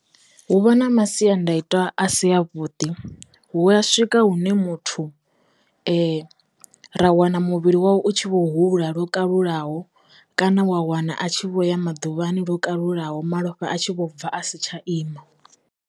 Hu vha na masiandaitwa a si a vhuḓi, hu a swika hune muthu ra wana muvhili wawe u tshi vho hula lwo kalulaho kana wa wana a tshi vho ya maḓuvhani lwo kalulaho malofha atshi vho bva a si tsha ima.